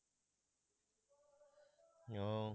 ও